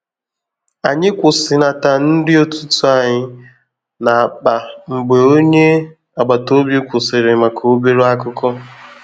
Ànyị kwụsịnata nri ụtụtụ anyị na akpa mgbe ònye agbata obi kwụsịrị maka obere akụkọ